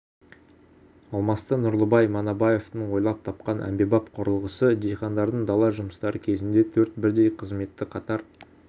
алмасты нұрлыбай манабаевтың ойлап тапқан әмбебап құрылғысы диқандардың дала жұмыстары кезінде төрт бірдей қызметті қатар